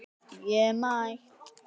Það segir: Ég er mætt!